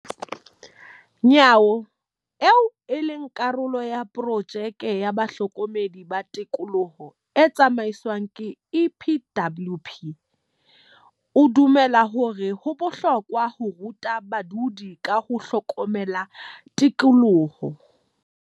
Nyawo, eo e leng karolo ya porojeke ya bahlokomedi ba tikoloho e tsamaiswang ke EPWP, o dumela hore ho bohlokwa ho ruta badudi ka ho hlokomela tikoloho.